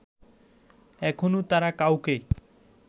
এখনো তারা কাউকে